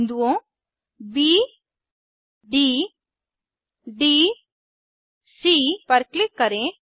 बिन्दुओं B D D C पर click करें